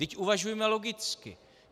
Vždyť uvažujme logicky.